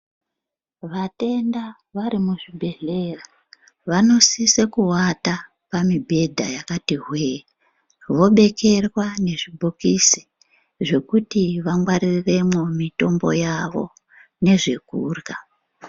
Vatenda vari muzvibhedhlera vanosise kuvata pamibhedha yakati hwee. Vobekerwa nezvibhokisi zvokuti vangwaririremwo mitombo yavo nezvekurya.